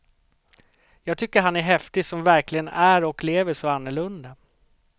Jag tycker han är häftig som verkligen är och lever så annorlunda.